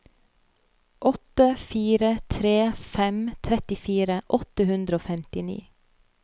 åtte fire tre fem trettifire åtte hundre og femtini